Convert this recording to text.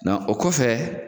Nɔ o kɔfɛ